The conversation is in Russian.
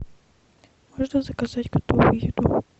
можно заказать готовую еду